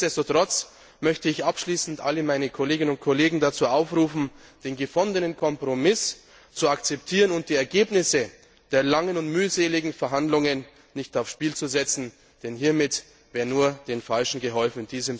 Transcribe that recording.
Nichtsdestotrotz möchte ich abschließend alle meine Kolleginnen und Kollegen dazu aufrufen, den gefundenen Kompromiss zu akzeptieren und die Ergebnisse der langen und mühseligen Verhandlungen nicht aufs Spiel zu setzen, denn hiermit wäre nur den Falschen geholfen.